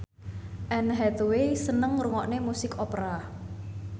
Anne Hathaway seneng ngrungokne musik opera